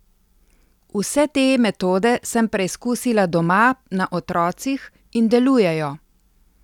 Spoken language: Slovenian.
Vse te metode sem preizkusila doma na otrocih in delujejo.